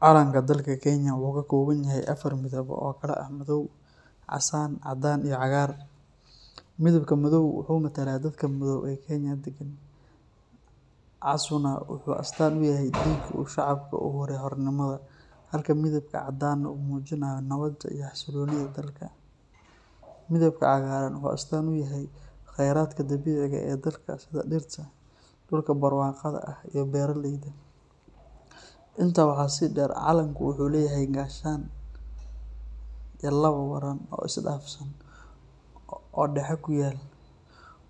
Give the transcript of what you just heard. Calanka dalka Kenya wuxuu ka kooban yahay afar midab oo kala ah madow, casaan, caddaan, iyo cagaar. Midabka madow wuxuu matalaa dadka madow ee Kenya deggan, casuuna wuxuu astaan u yahay dhiiggii uu shacabku u huray xornimada, halka midabka caddaana uu muujinayo nabadda iyo xasilloonida dalka. Midabka cagaaran wuxuu astaan u yahay khayraadka dabiiciga ah ee dalka sida dhirta, dhulka barwaaqada ah iyo beeraleyda. Intaa waxaa sii dheer, calanka wuxuu leeyahay gaashaan iyo laba waran oo isdhaafsan oo dhexe ku yaal,